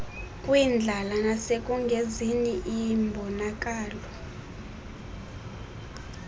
kwindlala nasekungenzini imbonakalo